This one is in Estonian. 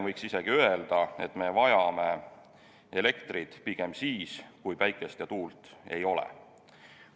Võiks isegi öelda, et me vajame elektrit pigem siis, kui päikest ja tuult ei ole.